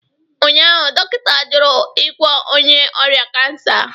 Ụnyaahụ, dọkịta jụrụ ịgwọ onye ọrịa kansa